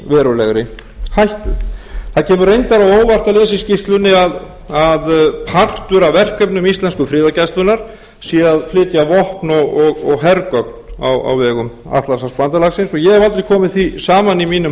verulegri hættu það kemur reyndar á óvart að lesa í skýrslunni að partur af verkefnum íslensku friðargæslunnar sé að flytja vopn og hergögn á vegum atlantshafsbandalagsins og ég hef aldrei komið því saman í mínum